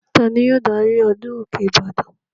Ta ni yóò darí ọdún òkè ìbàdàn?